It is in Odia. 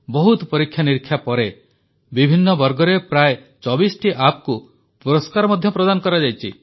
ବହୁତ ପରୀକ୍ଷାନିରୀକ୍ଷା ପରେ ବିଭିନ୍ନ ବର୍ଗରେ ପ୍ରାୟ 24ଟି ଆପକୁ ପୁରସ୍କାର ମଧ୍ୟ ପ୍ରଦାନ କରାଯାଇଛି